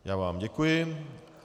Já vám děkuji.